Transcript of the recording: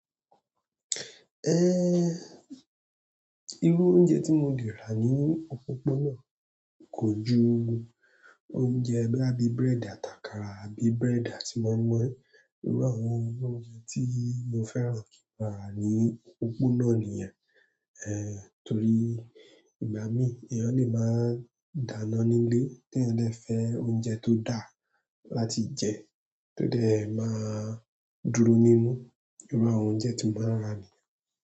Eh, irú oúnjẹ tí mo lè rà ní òpópónà kò ju oúnjẹ boya bí búrẹ́dì àtakàrà, àbí búrẹ́dì tí moi mọ̀i. Irú àwọn oúnjẹ tí mo fẹ́ran kí n rà ní òpópónà nìyẹn. Eh, torí ìgbà mí èèyàn lè máa dáná nílé tí eyan dè fẹ́ oúnjẹ tó dáa láti jẹ tó dè máa dúró nínú. Irú àwọn oúnjẹ tí mo máa rà nìyẹn.